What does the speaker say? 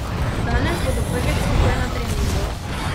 Danes bodo prvič skupaj na treningu.